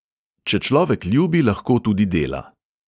Če človek ljubi, lahko tudi dela.